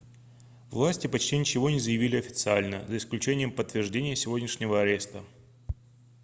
власти почти ничего не заявили официально за исключением подтверждения сегодняшнего ареста